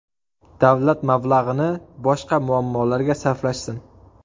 Davlat mablag‘ini boshqa muammolarga sarflashsin.